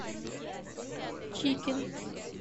чикин